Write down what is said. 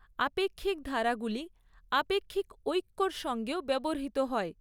আপেক্ষিক ধারাগুলি আপেক্ষিক ঐক্যর সঙ্গেও ব্যবহৃত হয়।